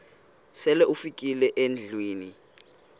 sele ufikile endlwini